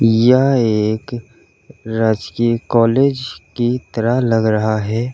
यह एक राजकीय कॉलेज की तरह लग रहा है।